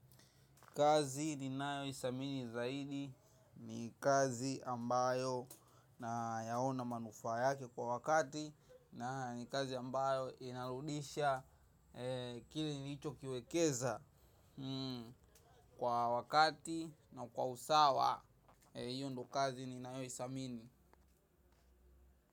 Kazi ninayo idhamini zaidi ni kazi ambayo nayaona manufaa yake kwa wakati. Na ni kazi ambayo inarudisha kile nichokiwekeza kwa wakati na kwa usawa. Hiyo ndio kazi ninayo idhamini.